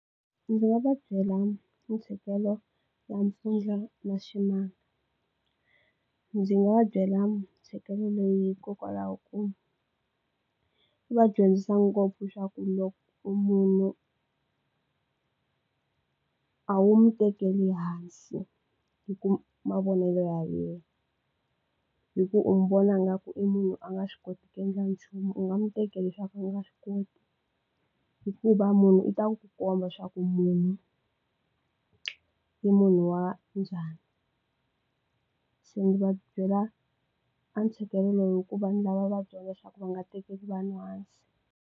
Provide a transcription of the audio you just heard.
Ndzi nga va byela ntshikelelo n'wampfundla na ximanga ndzi nga va byela ntsheketo leyi hikokwalaho ku va dyondzisa ngopfu xa ku loko munhu a wu mi tekeli hansi hi ku mavonelo ya yena hi ku u mi vona nga ku i munhu a nga swi koti ku endla nchumu u nga mi teke leswaku a nga swi koti hikuva munhu i ta ku ku komba leswaku munhu i munhu wa njhani se ndzi va byela a ntshikelelo lowu hikuva ni lava va dyondza leswaku va nga tekeli vanhu hansi.